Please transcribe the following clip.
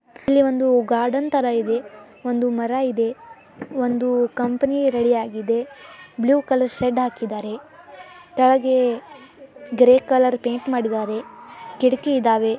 ಇಲ್ಲಿ ಒಂದು ಗಾರ್ಡನ್ ತರ ಇದೆ ಒಂದು ಮರ ಇದೆ ಒಂದು ಕಂಪನಿ ರೆಡಿ ಯಾಗಿದೆ ಬ್ಲೂ ಕಲರ್ ಶೆಡ್ ಹಾಕಿದರೆ ತಳಗೆ ಗ್ರೇ ಕಲರ್ ಪೈಂಟ್ ಮಾಡಿದ್ದಾರೆ ಕಿಡಕಿ ಇದವೇ .